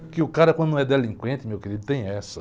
Porque o cara, quando não é delinquente, meu querido, tem essa.